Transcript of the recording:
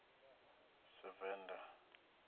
sevenda